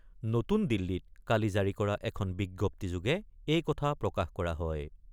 নতুন দিল্লীত কালি জাৰি কৰা এখন বিজ্ঞপ্তিযোগে এই কথা প্ৰকাশ কৰা হয়।